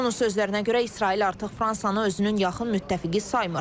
Onun sözlərinə görə, İsrail artıq Fransanı özünün yaxın müttəfiqi saymır.